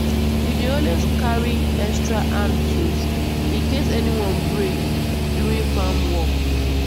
we dey always carry extra hand tools in case any one break during farm work.